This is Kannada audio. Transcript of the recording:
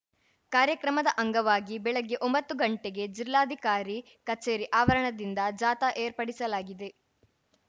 ಕಾರ್ಯಕ್ರಮದ ಅಂಗವಾಗಿ ಬೆಳಿಗ್ಗೆ ಒಂಬತ್ತು ಗಂಟೆಗೆ ಜಿಲ್ಲಾಧಿಕಾರಿ ಕಚೇರಿ ಆವರಣದಿಂದ ಜಾಥಾ ಏರ್ಪಡಿಸಲಾಗಿದೆ